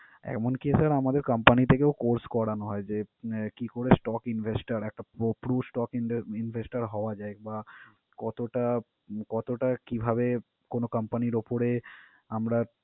এমনকি sir আমাদের company থেকেও course করানো হয় যে, আহ কি করে stock investor টার একটা po~ pro investor হওয়া যায় বা কতটা কতটা কিভাবে কোন company র উপরে আমরা